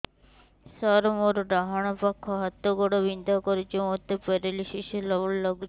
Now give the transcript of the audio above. ସାର ମୋର ଡାହାଣ ପାଖ ହାତ ଗୋଡ଼ ବିନ୍ଧା କରୁଛି ମୋତେ ପେରାଲିଶିଶ ହେଲା ଭଳି ଲାଗୁଛି